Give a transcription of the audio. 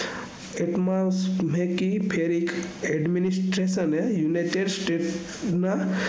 એકમસ મેંહ્કી ફેરિક administration એ united states ના